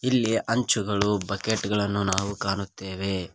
ಇಲ್ಲಿ ಅಂಚುಗಳು ಬಕೆಟ್ ಗಳನ್ನು ನಾವು ಕಾಣುತ್ತೇವೆ.